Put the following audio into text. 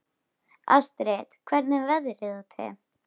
Astrid, hvernig er veðrið úti?